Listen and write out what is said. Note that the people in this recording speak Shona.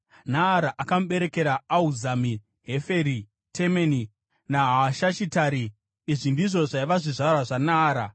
Naara akamuberekera Ahuzami, Heferi, Temeni naHaahashitari. Izvi ndizvo zvaiva zvizvarwa zvaNaara.